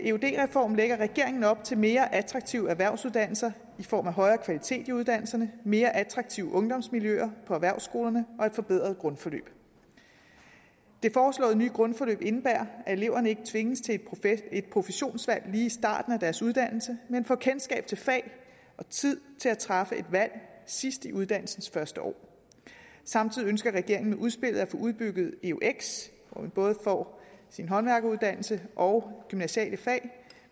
eud reform lægger regeringen op til mere attraktive erhvervsuddannelser i form af højere kvalitet i uddannelserne mere attraktive ungdomsmiljøer på erhvervsskolerne og et forbedret grundforløb det foreslåede nye grundforløb indebærer at eleverne ikke tvinges til et professionsvalg lige i starten af deres uddannelse men får kendskab til fag og tid til at træffe et valg sidst i uddannelsens første år samtidig ønsker regeringen med udspillet at få udbygget eux hvor man både får sin håndværkeruddannelse og gymnasiale fag